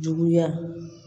Juguya